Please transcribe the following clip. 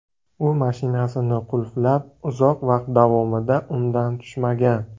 U mashinasini qulflab, uzoq vaqt davomida undan tushmagan.